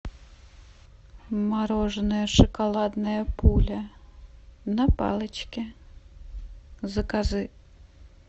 мороженое шоколадная пуля на палочке закажи